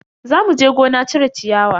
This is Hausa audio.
Za muje gona cire ciyawa.